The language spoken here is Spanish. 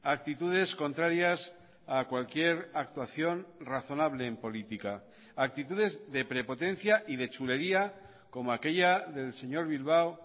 actitudes contrarias a cualquier actuación razonable en política actitudes de prepotencia y de chulería como aquella del señor bilbao